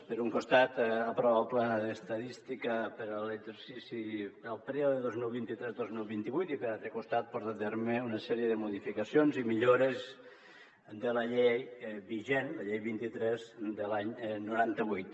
per un costat aprova el pla d’estadística per a l’exercici del període dos mil vint tres dos mil vint vuit i per altre costat porta a terme una sèrie de modificacions i millores de la llei vigent la llei vint tres de l’any noranta vuit